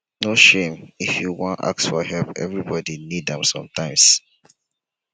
no shame if you wan ask for help everybodi need am sometimes.